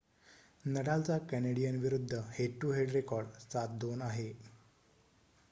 नडालचा Canadian विरुद्ध head to head record 7-2 आहे